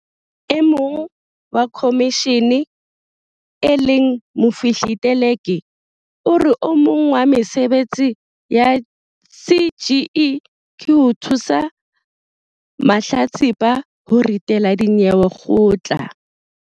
E mong wa khomishene e leng Mofihli Teleki o re o mong wa mesebetsi ya CGE ke ho thusa mahlatsipa ho ritela dinyewe kgotla.